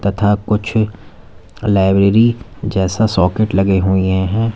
तथा कुछ लाइब्रेरी जैसा सॉकेट लगे हुए है।